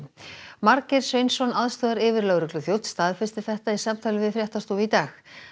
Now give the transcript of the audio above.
Margeir Sveinsson aðstoðaryfirlögregluþjónn staðfesti þetta í samtali við fréttastofu í dag